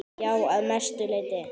Já, að mestu leyti.